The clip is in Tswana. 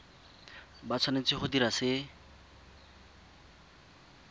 ba tshwanetse go dira se